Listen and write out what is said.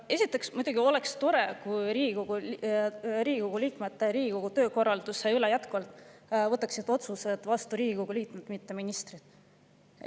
Esiteks oleks muidugi tore, kui Riigikogu töökorralduse kohta võtaksid otsuseid vastu jätkuvalt Riigikogu liikmed, mitte ministrid.